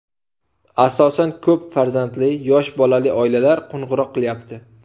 Asosan ko‘p farzandli, yosh bolali oilalar qo‘ng‘iroq qilyapti.